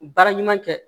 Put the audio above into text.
Baara ɲuman kɛ